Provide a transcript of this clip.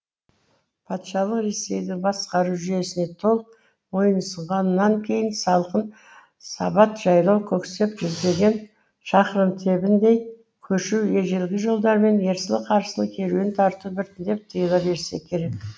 патшалық ресейдің басқару жүйесіне толық мойынұсынғаннан кейін салқын сабат жайлау көксеп жүздеген шақырым тебіндей көшу ежелгі жолдармен ерсілі қарсылы керуен тарту біртіндеп тыйыла берсе керек